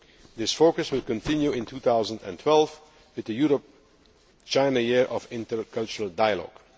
This focus will continue in 2012 with the Europe China Year of Intercultural Dialogue.